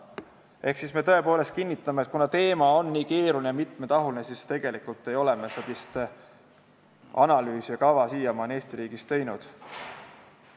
Ehk me kinnitame, et kuna teema on nii keeruline ja mitmetahuline, siis ei ole me sellist analüüsi ja kava siiamaani Eesti riigis teinud.